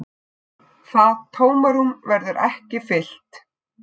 Það tómarúm verður ekki fyllt.